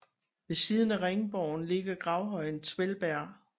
Ved siden af ringborgen ligger gravhøjen Twellberg